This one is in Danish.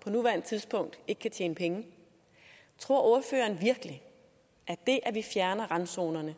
på nuværende tidspunkt ikke tjene penge tror ordføreren virkelig at det at vi fjerner randzonerne